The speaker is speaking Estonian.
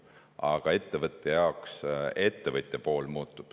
Aga ettevõtja pool muutub.